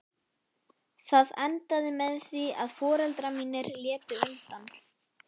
Það endaði með því að foreldrar mínir létu undan.